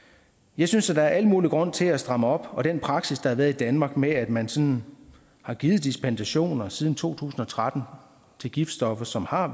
jeg synes at der er al mulig grund til at stramme op og den praksis der har været i danmark med at man sådan har givet dispensationer siden to tusind og tretten til giftstoffer som har